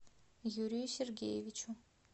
юрию сергеевичу